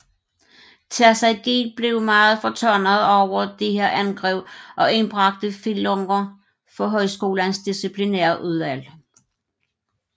Terzaghi blev meget fortørnet over disse angreb og indbragte Fillunger for højskolens disciplinærudvalg